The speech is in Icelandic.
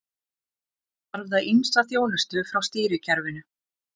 Þá þarf það ýmsa þjónustu frá stýrikerfinu.